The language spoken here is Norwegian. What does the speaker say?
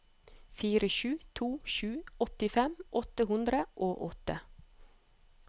fire sju to sju åttifem åtte hundre og åtte